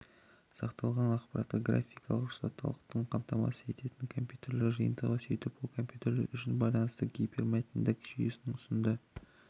сақталынған ақпаратқа графикалық рұқсаттылықты қамтамасыз ететін компьютерлер жиынтығы сөйтіп ол компьютерлер үшін байланыстың гипермәтіндік жүйесін ұсынды